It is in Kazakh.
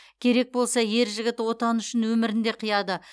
керек болса ер жігіт отаны үшін өмірін де қияды